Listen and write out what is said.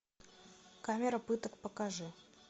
камера пыток покажи